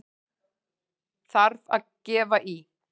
Þarf að gefa í!